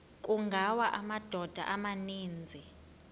kungawa amadoda amaninzi